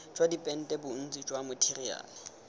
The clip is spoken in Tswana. jwa dipente bontsi jwa matheriale